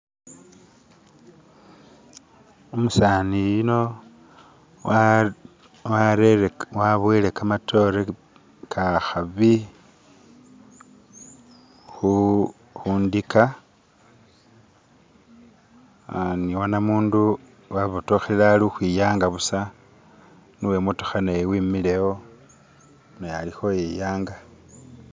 umusani yuno waboyele kamatore kahabi hundika niwanamundu wabotohelele ali hwiyanga busa niwe motoha wemihile wo naye ali iyanga